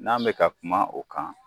N'an bɛ ka kuma o kan